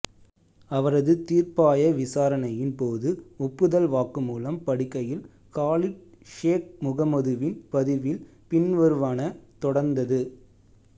அவரது தீர்ப்பாய விசாரணையின் போது ஒப்புதல் வாக்குமூலம் படிக்கையில் காலித் ஷேக் முகமதுவின் பதிவில் பின்வருவன தொடர்ந்தது